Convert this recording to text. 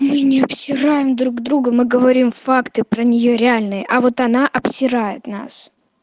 мы не обсираем друг друга мы говорим факты про неё реальные а вот она обсирает нас